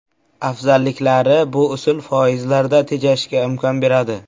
Afzalliklari Bu usul foizlarda tejashga imkon beradi.